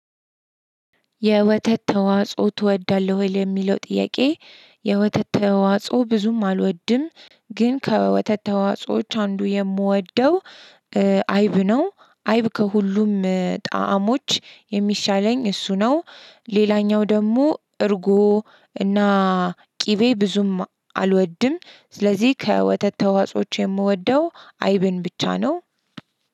የወተት ተዋጽኦ ትወዳለህ ወይ ለሚለው ጥያቄ? የወተት ተዋጽኦ ብዙም አልወድም። ግን ከወተት ተዋጾዎች አንዱ የምወደው አይብ ነው። አይብ ከሁሉም ጣዕሞች የሚሻለኝ እሱ ነው። ሌላኛው ደግሞ እርጎ እና ቅቤ ብዙም አልወድም። ስለዚህ ከወተት ተዋጾዎች የምወደው አይብን ብቻ ነው።